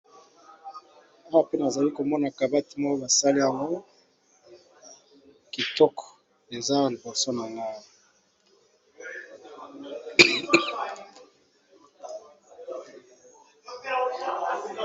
Awa pe nazali komona kabati moko basali yango kitoko, eza Awa liboso na ngai.